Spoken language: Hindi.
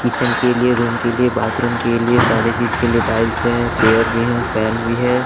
किचन के लिए रूम के लिए बाथरूम के लिए सारे चीज के लिए टाइल्स हैं चेयर भी हैं फैन भी है।